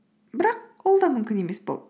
бірақ ол да мүмкін емес болды